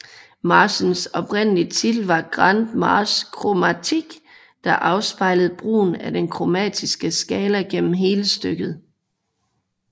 Marchens oprindelige titel var Grande Marche Chromatique der afspejlede brugen af den kromatiske skala gennem hele stykket